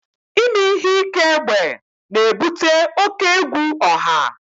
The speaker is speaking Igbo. Ime ihe ike egbe na-ebute oke egwu ọha